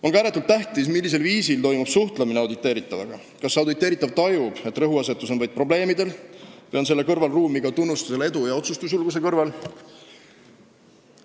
On ka ääretult tähtis, millisel viisil toimub suhtlemine auditeeritavaga – kas auditeeritav tajub, et rõhuasetus on vaid probleemidel, või on selle kõrval ruumi ka tunnustusele edu ja otsustusjulguse korral.